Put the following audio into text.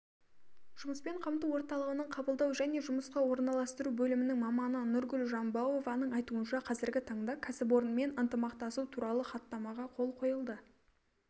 жұмыспен қамту орталығының қабылдау және жұмысқа орналастыру бөлімінің маманы нұргүл жамбауованың айтуынша қазіргі таңда кәсіпорынмен ынтымақтасу туралы хаттамаға қол қойылды